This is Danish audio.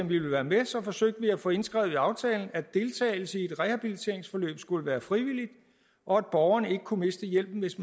ville være med og så forsøgte vi at få indskrevet i aftalen at deltagelse i et rehabiliteringsforløb skulle være frivilligt og at borgeren ikke kunne miste hjælpen hvis